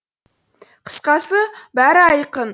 қысқасы бәрі айқын